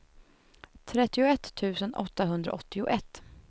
trettioett tusen åttahundraåttioett